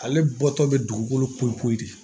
Ale bɔtɔ bɛ dugukolo ko de